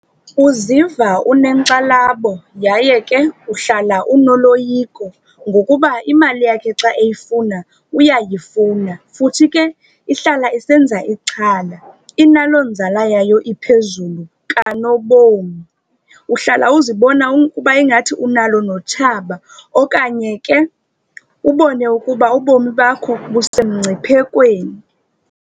Uziva unekxalabo yaye ke uhlala unoloyiko ngokuba imali yakhe xa eyifuna uyayifuna. Futhi ke ihlala isenza ixhala inaloo nzala yayo iphezulu kanobom. Uhlala uzibona ukuba ingathi unalo notshaba okanye ke ubone ukuba ubomi bakho busemngciphekweni.